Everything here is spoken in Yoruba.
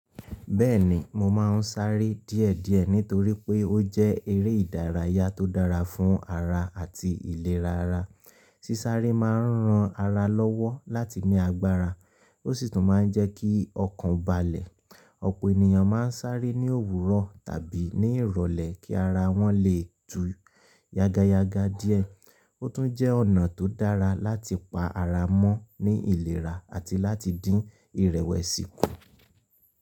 Bẹ́ẹ̀ni, mo máa ń sáré díẹ̀díẹ̀ nítorí pé ó jẹ́ eré ìdárayá tó dára fún ara àti ìlera ara. Sísáré máa ń ran ara lọ́wọ́ láti ní agbára, ó sì tún máa ń jẹ́ kí ọkàn balẹ̀. Ọ̀pọ̀ ènìyàn máa ń sáré ní òwúrọ̀ tàbí ní ìrọ̀lẹ́ kí ara wọn lè tú yagayaga díẹ̀. Ó tún jẹ́ ọ̀nà tó dára láti pa ara mọ́ ní ìlera àti láti dín ìrẹ̀wẹ̀sì kù.